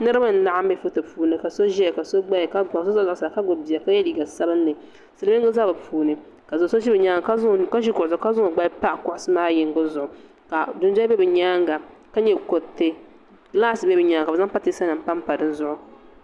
Niriba n-laɣim be foto puuni ka so ʒiya ka so gbaya ka so za zuɣusaa ka gbubi bia ka ye liiga sabinli siliminga za bɛ puuni ka so ʒi bɛ nyaaŋa ka ʒi kuɣusi zuɣu ka zaŋ o gbali m-pa kuɣusi maa zuɣu ka dunoli be bɛ nyaaŋa ka nyɛ kuriti ka gilaasi be bɛ nyaaŋa ka bɛ zaŋ pateesanima m-pampa di zuɣu